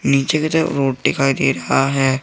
नीचे की तरफ ऊट दिखाई दे रहा है।